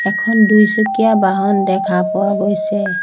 এখন দুইচকীয়া বাহন দেখা পোৱা গৈছে।